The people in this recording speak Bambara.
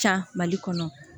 Ca mali kɔnɔ